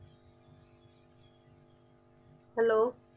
hello